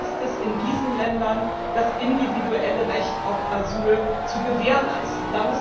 Was heißt das in diesen Ländern, das individuelle Recht auf Asyl zu gewährleisten?